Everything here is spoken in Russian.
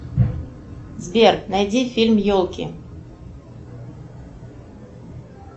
сбер найди фильм елки